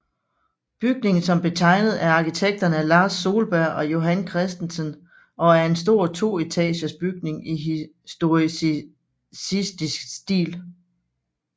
Bygningen som blev tegnet af arkitekterne Lars Solberg og Johan Christensen og er en stor toetagers bygning i historicistisk stil